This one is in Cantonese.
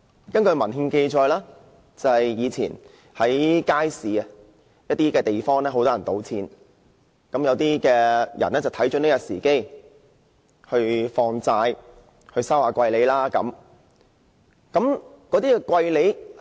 根據文獻記載，以前在街市某些地方，有很多人聚賭，於是有些人看準時機，在那裏放債，收取昂貴的利息。